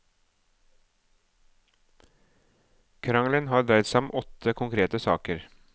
Krangelen har dreid seg om åtte konkrete saker.